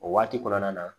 O waati kɔnɔna na